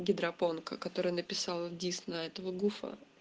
гидропонка которая написала дис на этого гуфа